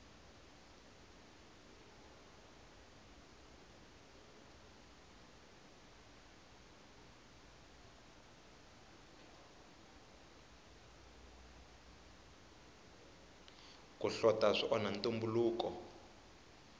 ku hlota swi onha ntumbuluko